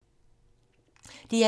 DR1